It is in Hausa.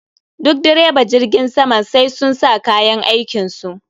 Duk direba jirgin sama sai sun sa kayan aikin su